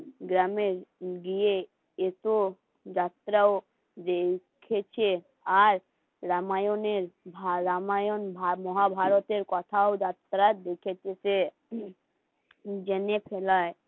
গ্রামের গিয়ে এসো যাত্রাও যে উঠেছে আর রামায়ণের রামায়ণ মহাভারতের কথাও জেনে ফেলাই